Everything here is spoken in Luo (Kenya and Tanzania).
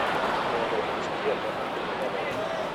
Mondo onyis tiende matut moloyo.